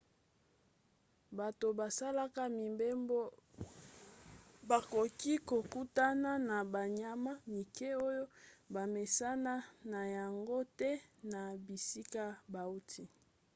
bato basalaka mibembo bakoki kokutana na banyama mike oyo bamesana na yango te na bisika bauti